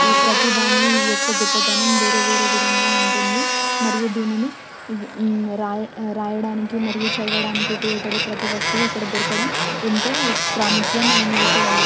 ఈ ప్రతి దాన్ని యొక్క గొప్పతనం వేరు వేరు విధంగా ఉంటుంది మరియు దీన్నీ రాయ రాయడానికి చదవడానికి ఉపయోగపడే ప్రతివస్తువు ఇక్కడ ఎంతో ప్రాముఖ్యమైన విషయమిది--